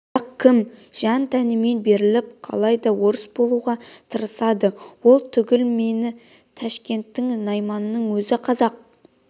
қазақ кім- жан-тәнмен беріліп қалай да орыс болуға тырысады ол түгіл міне ташкенттің найманының өзі қазақ